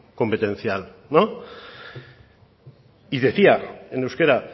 competencial y decía en euskera